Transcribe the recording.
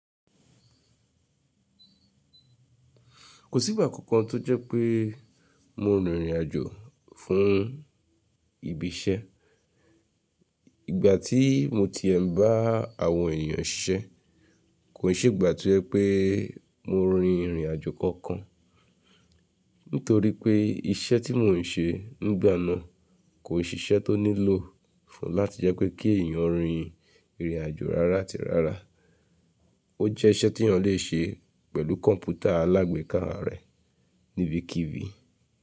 Kò sí ìgbà kankan tó jẹ́ pé mo rin ìrìn àjò fún ibi iṣẹ́. Ìgbà tí mo ti e n bá àwọn ènìyàn siṣẹ́, kò n ṣe ìgbà ti o je pé mo rin ìrìn àjò kankan. Nítorí pé iṣẹ́ tí mò ń ṣe nígbà náà kò n ṣe iṣẹ́ tó nílò fún láti jẹ́ pé kí èèyàn rin ìrìn àjò rárá àti rárá. Ó jẹ́ iṣẹ́ tí èèyàn lè ṣe pẹ̀lú kọ̀mpútà alágbèéká rẹ níbikíbi.